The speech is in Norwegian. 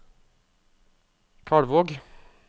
Kalvåg